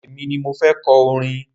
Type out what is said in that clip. Èmi ni mo fẹ́ kọ orin.